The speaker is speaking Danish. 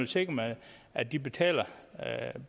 sikrer man at de betaler